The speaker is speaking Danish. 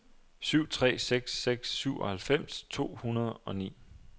syv tre seks seks syvoghalvfems to hundrede og ni